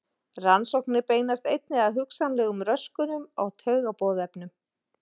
Rannsóknir beinast einnig að hugsanlegum röskunum á taugaboðefnum.